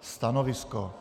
stanovisko.